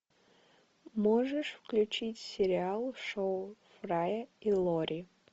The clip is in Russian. можешь включить сериал шоу фрая и лори